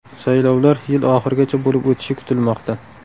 Saylovlar yil oxirigacha bo‘lib o‘tishi kutilmoqda.